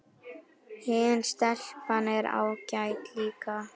Hin stelpan er ágæt líka